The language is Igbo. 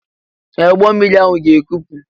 Ee! Ụgbọ mmiri ahụ ga-ekpu.